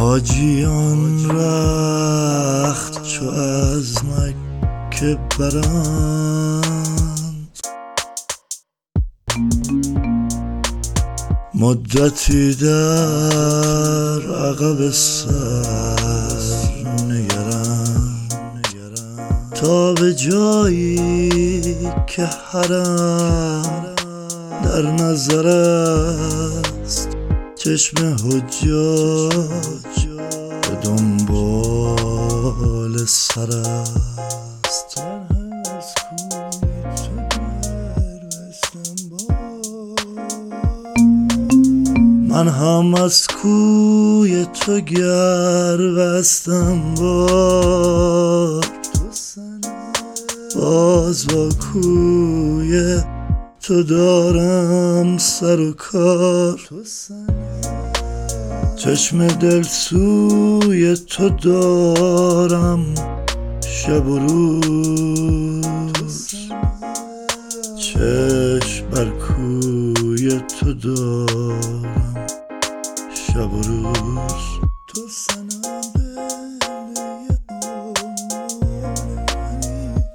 حاجیان رخت چو از مکه برند مدتی در عقب سر نگرند تا به جایی که حرم در نظر است چشم حجاج به دنبال سر است من هم از کوی تو گر بستم بار باز با کوی تو دارم سر و کار چشم دل سوی تو دارم شب و روز چشم بر کوی تو دارم شب و روز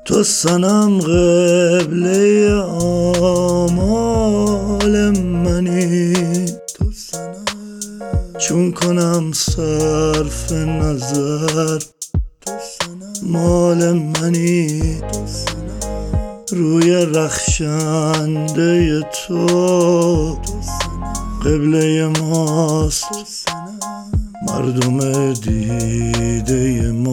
تو صنم قبله آمال منی چون کنم صرف نظر مال منی روی رخشنده تو قبله ماست مردم دیده ما قبله نماست